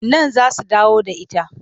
Nan za su dawo da ita.